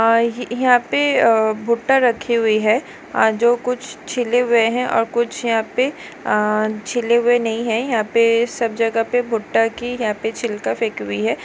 यहाँ पे अ बुटा रखी हुई है जो कुछ छीले हुए है कुछ यहा पे आ छीले हुए नही है यहाँ पे सब जगह पे बुटा की यहाँ पे चिल्का फेकि हुई है।